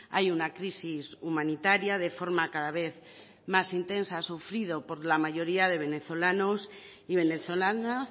hay una crisis humanitaria de forma cada vez más intensa sufrido por la mayoría de venezolanos y venezolanas